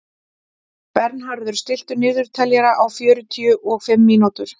Bernharður, stilltu niðurteljara á fjörutíu og fimm mínútur.